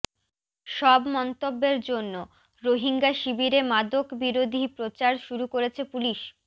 সব মন্তব্যের জন্য রোহিঙ্গা শিবিরে মাদক বিরোধী প্রচার শুরু করেছে পুলিশ